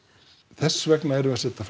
þess vegna erum við að setja